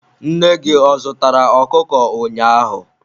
Nne gị ọ zụtara okụkụ ụnyaahụ?